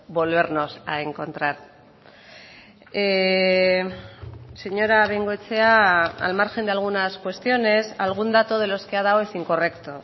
volvernos a encontrar señora bengoechea al margen de algunas cuestiones algún dato de los que ha dado es incorrecto